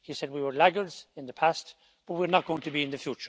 He said that we were laggards in the past, but we are not going to be in the